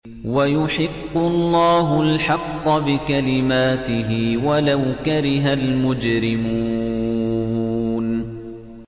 وَيُحِقُّ اللَّهُ الْحَقَّ بِكَلِمَاتِهِ وَلَوْ كَرِهَ الْمُجْرِمُونَ